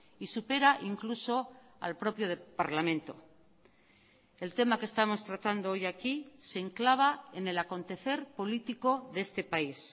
y supera incluso al propio parlamento el tema que estamos tratando hoy aquí se enclava en el acontecer político de este país